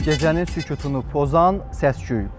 Gecənin sükutunu pozan səs-küy.